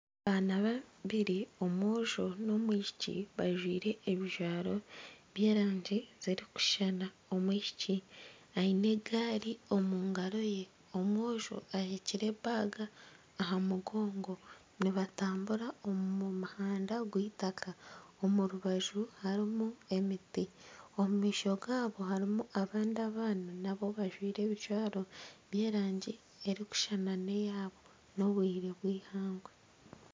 Abaana babiri omwojo n'omwishiki bajwaire ebijwaro by'erangi zirikushushana, omwishiki aine egaari omu ngaro ye omwojo aheekire baga aha mugongo nibatambura omu muhanda gw'eitaaka omu rubaju harimu emiti omumaisho gabo harimu abandi abaana nabo bajwaire ebijwaro by'erangi erikushushana neeyabo n'obwire bw'eihangwe.